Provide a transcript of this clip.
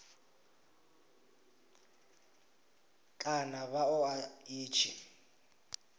kana vha ṱoḓa ḽi tshi